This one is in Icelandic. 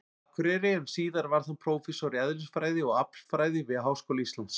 Akureyri, en síðar varð hann prófessor í eðlisfræði og aflfræði við Háskóla Íslands.